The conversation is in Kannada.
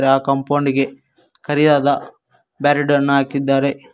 ಆ ಕಾಂಪೌಂಡ್ ಗೆ ಕರಿಯಾದ ಬ್ಯಾರಿಡ್ ಅನ್ನು ಹಾಕಿದ್ದಾರೆ.